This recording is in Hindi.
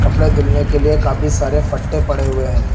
कपड़े धुलने के लिए काफी सारे फट्टे पड़े हुए हैं।